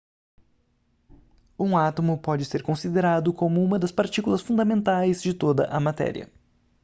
um átomo pode ser considerado como um das partículas fundamentais de toda a matéria